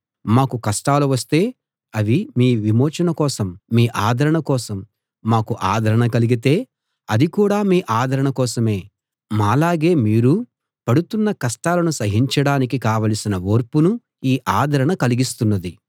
మాకు కష్టాలు వస్తే అవి మీ విమోచన కోసం మీ ఆదరణ కోసం మాకు ఆదరణ కలిగితే అది కూడా మీ ఆదరణ కోసమే మాలాగే మీరూ పడుతున్న కష్టాలను సహించడానికి కావలసిన ఓర్పును ఈ ఆదరణ కలిగిస్తున్నది